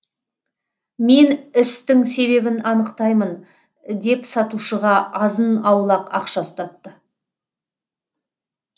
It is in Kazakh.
мен істің себебін анықтаймын деп сатушыға азын аулақ ақша ұстатты